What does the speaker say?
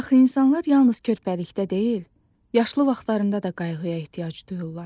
Axı insanlar yalnız körpəlikdə deyil, yaşlı vaxtlarında da qayğıya ehtiyac duyurlar.